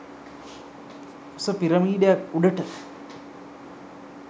උස පිරමීඩයක් උඩට